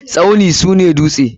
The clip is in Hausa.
Tsauni sune duste.